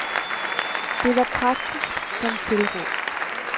Det var praktisk som tilråb.